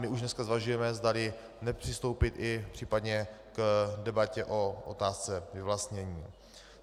My už dneska zvažujeme, zdali nepřistoupit i případně k debatě o otázce vyvlastnění.